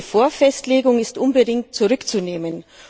Diese Vorfestlegung ist unbedingt zurückzunehmen.